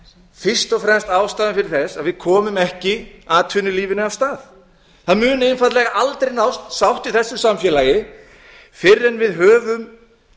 fyrst og fremst ástæða þess að við komum ekki atvinnulífinu á stað það mun einfaldlega aldrei nást sátt í þessu samfélagi fyrr en við höfum